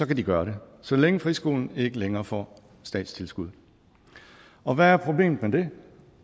de gøre det så længe friskolen ikke længere får statstilskud og hvad er problemet med det